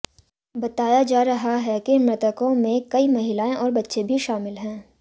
बताया जा रहा है कि मृतकों में कई महिलाएं और बच्चे भी शामिल हैं